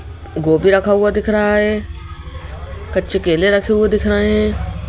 गोभी रखा हुआ दिख रहा है कच्चे केले रखे हुए दिख रहे हैं।